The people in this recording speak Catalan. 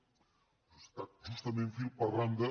ha estat justament fil per randa